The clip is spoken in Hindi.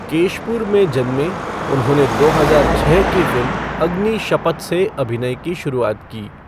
केशपुर में जन्मे, उन्होंने दो हजार छः की फ़िल्म अग्नि शपथ से अभिनय की शुरुआत की।